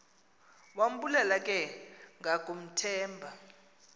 wambulela ke ngakumthemba